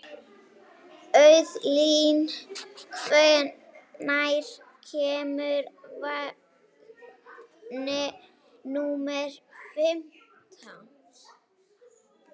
Auðlín, hvenær kemur vagn númer fimmtán?